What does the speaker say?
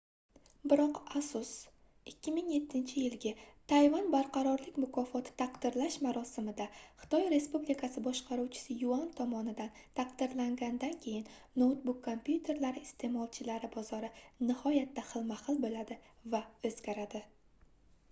biroq asus 2007-yilgi tayvan barqarorlik mukofoti taqdirlash marosimida xitoy respublikasi boshqaruvchisi yuan tomonidan taqdirlanganidan keyin noutbuk kompyuterlari isteʼmolchilari bozori nihoyatda xilma-xil boʻladi va oʻzgaradi